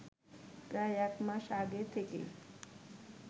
প্রায় এক মাস আগে থেকেই